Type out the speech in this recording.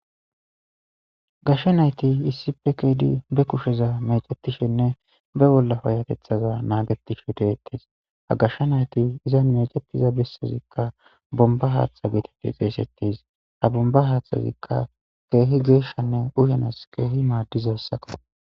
gashsha nayti issi pe keedi be kusheza mecetishenne be bollapayatethaza naagetishe deettes ha gashsha nayti iza meceppiza bessazikka bomba haaththa geetede xeesettis ha bomba haaththazikka keehi geeshshanne uyanas keehi maaddizassakko.